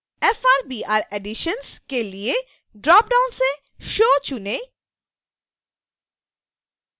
frbr editions के लिए dropdown से show चुनें